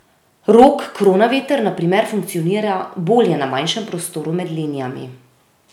Rok Kronaveter na primer funkcionira bolje na manjšem prostoru med linijami.